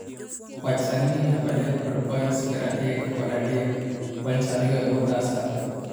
Kwach sani nie namba adek kod points pira dek kod adek points ariyo ebwo Tusker